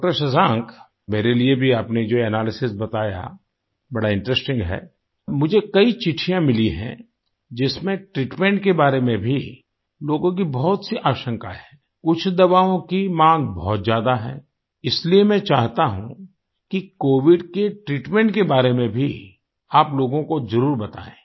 डॉ० शशांक मेरे लिए भी आपने जो एनालिसिस बताया बड़ा इंटरेस्टिंग है मुझे कई चिट्ठियाँ मिली हैं जिसमें ट्रीटमेंट के बारे में भी लोगों की बहुत सी आशंकाए हैं कुछ दवाओं की मांग बहुत ज्यादा है इसलिए मैं चाहता हूँ कि कोविड के ट्रीटमेंट के बारे में भी आप लोगों को जरुर बताएँ